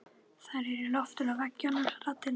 Þær eru í loftinu og veggjunum raddirnar.